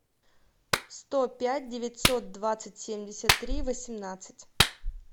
сто пять девятьсот двадцать семьдесят три восемнадцать